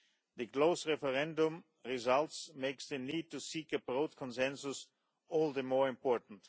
The close referendum result makes the need to seek a broad consensus all the more important.